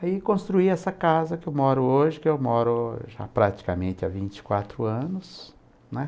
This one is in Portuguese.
Aí construí essa casa que eu moro hoje, que eu moro já praticamente há vinte e quatro anos, né?